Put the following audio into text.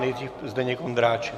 Nejdřív Zdeněk Ondráček.